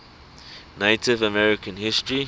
native american history